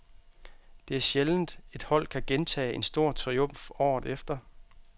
Det er sjældent, et hold kan gentage en stor triumf året efter.